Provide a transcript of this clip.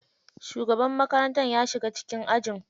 Shugaban makarantar ya shiga cikin ajin.